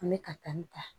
An bɛ katan ta